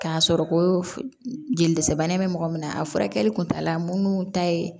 K'a sɔrɔ ko jelisi bana bɛ mɔgɔ min na a furakɛli kuntala mun ta ye